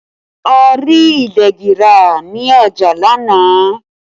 A rí ìdegi ra ní ọjà lánàá